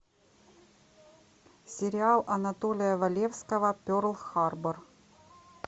сериал анатолия валевского перл харбор